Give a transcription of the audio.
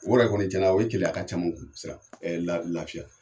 O yɛrɛ kɔni cɛn na o ye keleya caman la lafiya.